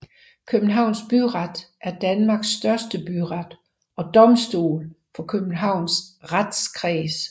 Københavns Byret er Danmarks største byret og domstol for Københavns Retskreds